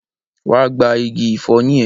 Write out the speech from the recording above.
Wa gba igi ìfọyín ẹ!